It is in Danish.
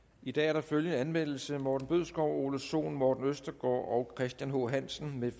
i dag er der følgende anmeldelse morten bødskov ole sohn morten østergaard og christian h hansen